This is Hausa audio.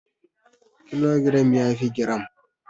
Kilogiram yafi giram.